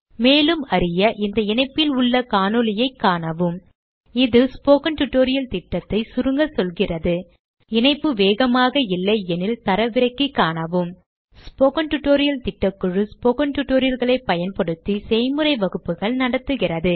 மேலும் அறிய இந்த இணைப்பில் உள்ள காணொளியைக் காணவும்இது ஸ்போக்கன் டியூட்டோரியல் திட்டத்தை சுருங்க சொல்கிறது இணைப்பு வேகமாக இல்லையெனில் தரவிறக்கி காணவும் ஸ்போக்கன் டியூட்டோரியல் திட்டக்குழு ஸ்போக்கன் tutorial களைப் பயன்படுத்தி செய்முறை வகுப்புகள் நடத்துகிறது